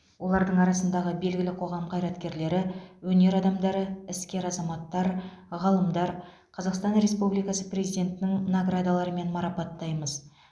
олардың арасындағы белгілі қоғам қайраткерлері өнер адамдары іскер азаматтар ғалымдар қазақстан республикасы президентінің наградаларымен марапаттаймыз